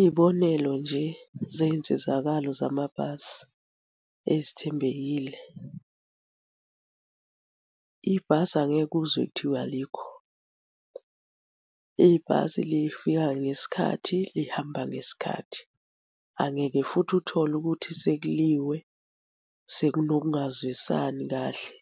Iy'bonelo nje zey'nsizakalo zamabhasi ezithembekile. Ibhasi angeke uzwe kuthiwa alikho. Ibhasi lifika ngesikhathi, lihamba ngesikhathi. Angeke futhi uthole ukuthi sekuliwe sekunokungazwisani kahle,